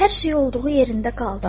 Hər şey olduğu yerində qaldı.